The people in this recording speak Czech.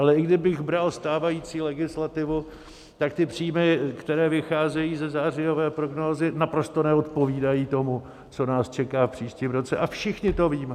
Ale i kdybych bral stávající legislativu, tak ty příjmy, které vycházejí ze zářijové prognózy, naprosto neodpovídají tomu, co nás čeká v příštím roce, a všichni to víme.